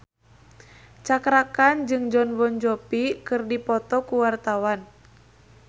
Cakra Khan jeung Jon Bon Jovi keur dipoto ku wartawan